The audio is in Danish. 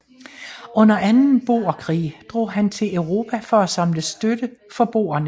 Under anden boerkrig drog han til Europa for at samle støtte for boerne